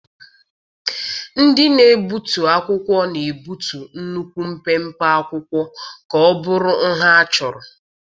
Ndị na-egbutu akwụkwọ na-egbutu nnukwu mpempe akwụkwọ ka ọ bụrụ nha achọrọ.